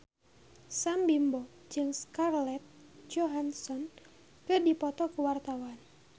Sam Bimbo jeung Scarlett Johansson keur dipoto ku wartawan